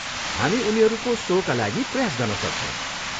हामी उनीहरूको सोका लागि प्रयास गर्न सक्छौँ।